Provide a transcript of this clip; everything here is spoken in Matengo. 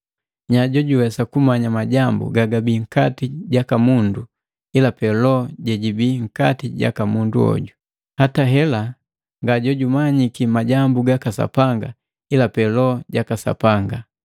Nyaa jojuwesa kumanya majambu gu nkati jaka mundu ila pee loho jejibii nkati jaka mundu hoju? Hata hela nga jojumanyiki majambu gaka Sapanga ila pe Loho jaka Sapanga.